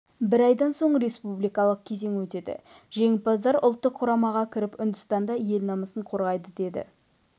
бір айдан соң республикалық кезең өтеді жеңімпаздар ұлттық құрамаға кіріп үндістанда ел намысын қорғайды деді